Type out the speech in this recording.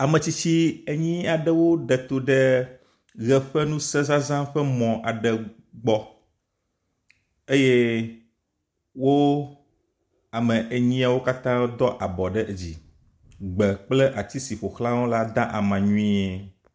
Ame tsitsi enyi aɖe wo ɖe to ɖe ʋe ƒe ŋusezaza ƒe mɔ aɖe gbɔ eye wo ame enyiawo katã do abɔ ɖe dzi. Gbe kple ati si ƒoxlawo la da ama nyuie.